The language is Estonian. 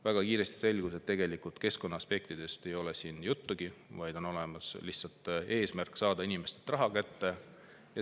Väga kiiresti selgus, et tegelikult keskkonnaaspektidest ei ole siin juttugi, vaid on lihtsalt eesmärk saada inimestelt raha kätte.